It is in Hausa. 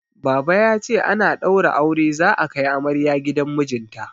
Baba ya ce ana ɗaura aure za'a kai amarya gidan mijinta.